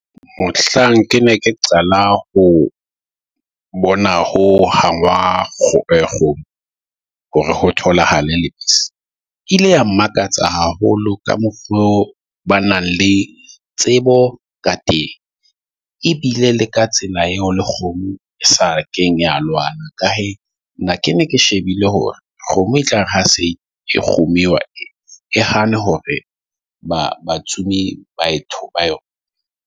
Mohlang ke ne ke qala ho bona ho hangwa eh kgomo hore ho tholahala lebese, ile ya mmakatsa haholo ka mokgo ba nang le tsebo ka teng. Ebile le ka tsela eo le kgomo e sa kenya lwana ka hee nna ke ne ke shebile hore kgomo e tlare ha se kgomo , e ha ne hore ba batsomi baeti ba yona .